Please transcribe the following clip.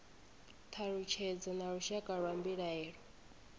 thalutshedzo na lushaka lwa mbilaelo